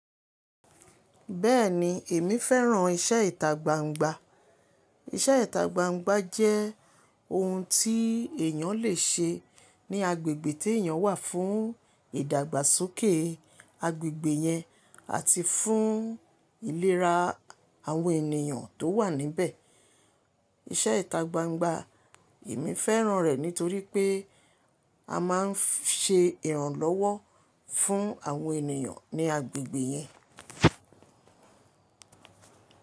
Bẹ́ẹ̀ni, èmi fẹ́ràn iṣẹ́ ìtágbángbá. Iṣẹ́ ìtágbángbá jẹ́ oun tí èyàn lè ṣe ní agbègbè tí èyàn wà fún ìdàgbàsókè agbègbè yẹn àti fún ìlera àwọn ènìyàn tó wà níbẹ̀. Iṣẹ́ ìtagbangba, èmi fẹ́ràn rẹ̀ nítorí pé a máa ń ṣe ìrànlọ́wọ́ fún àwọn ènìyàn ní agbègbè yẹn.